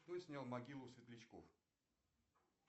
кто снял могилу светлячков